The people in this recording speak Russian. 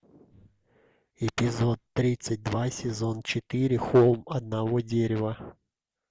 эпизод тридцать два сезон четыре холм одного дерева